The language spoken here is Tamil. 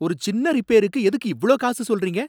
ஒரு சின்ன ரிப்பேருக்கு எதுக்கு இவ்ளோ காசு சொல்றீங்க?